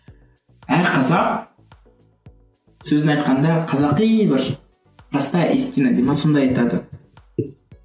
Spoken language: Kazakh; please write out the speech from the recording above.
әр қазақ сөзін айтқанда қазақи бір простая истина дей ме сонда айтады